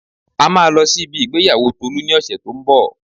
A máa lọ sí ibi ìgbéyàwó Tolu ní ọ̀sẹ̀ to ń bọ̀